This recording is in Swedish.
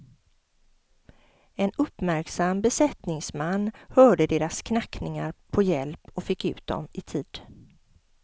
En uppmärksam besättningsman hörde deras knackningar på hjälp och fick ut dem i tid.